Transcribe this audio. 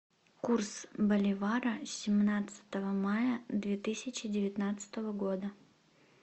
курс боливара семнадцатого мая две тысячи